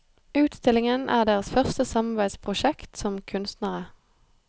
Utstillingen er deres første samarbeidsprosjekt som kunstnere.